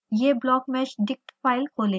यह blockmeshdict file खोलेगा